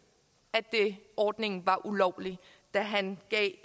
at ordningen var ulovlig da han